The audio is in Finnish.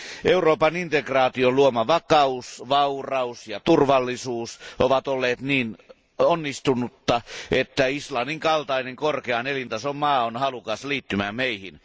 Euroopan integraation luoma vakaus, vauraus ja turvallisuus ovat olleet niin onnistuneita, että Islannin kaltainen korkean elintason maa on halukas liittymään meihin.